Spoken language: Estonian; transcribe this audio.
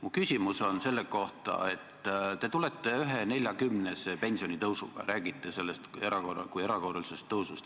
Mu küsimus on selle kohta, et te tulete 1,40-se pensionitõusuga, räägite sellest kui erakorralisest tõusust.